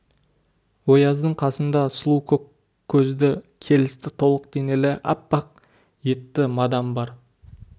ояздың қасында сұлу көк көзді келісті толық денелі аппақ етті мадам бар